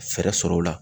Fɛɛrɛ sɔrɔ o la